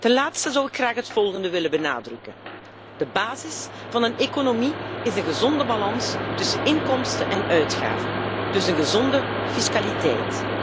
Ten laatste zou ik graag het volgende willen benadrukken de basis van een economie is een gezonde balans tussen inkomsten en uitgaven, dus een gezonde fiscaliteit.